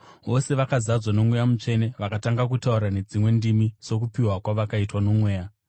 Vose vakazadzwa noMweya Mutsvene vakatanga kutaura nedzimwe ndimi sokupiwa kwavakaitwa noMweya.